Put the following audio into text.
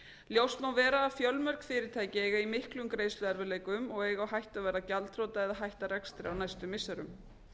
ljóst má vera að fjölmörg fyrirtæki eiga í miklum greiðsluerfiðleikum og eiga á hættu að verða gjaldþrota eða hætta rekstri á næstu missirum